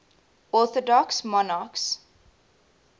orthodox monarchs